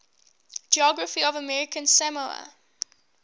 geography of american samoa